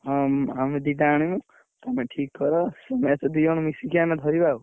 ହଁ ମୁଁ ଆମେ ଦିଟା ଆଣିବୁ। ତମେ ଠିକ୍ କର ସେ match ଦିଜଣ ମିଶିକି ଆମେ ଧରିବା ଆଉ।